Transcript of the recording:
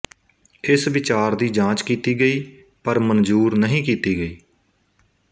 ਇਸ ਵਿਚਾਰ ਦੀ ਜਾਂਚ ਕੀਤੀ ਗਈ ਪਰ ਮਨਜ਼ੂਰ ਨਹੀਂ ਕੀਤੀ ਗਈ